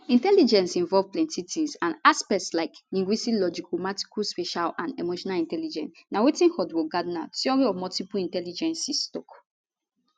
intelligence involve plenti tins and aspects like linguistic logicalmathematical spatial and emotional intelligence na wetin howard gardner theory of multiple intelligences tok